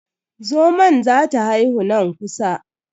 Zomon za ta haihu nan kusa.